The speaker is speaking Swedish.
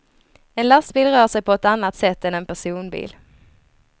En lastbil rör sig på ett annat sätt än en personbil.